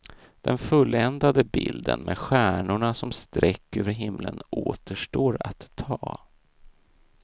Den fulländade bilden med stjärnorna som streck över hela himlen återstår att ta.